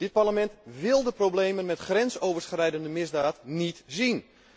Dit Parlement wil de problemen met grensoverschrijdende misdaad niet zien.